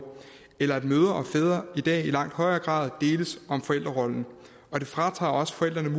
eller at mødre og fædre i dag i langt højere grad deles om forældrerollen og det fratager også forældrene